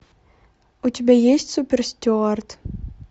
у тебя есть суперстюард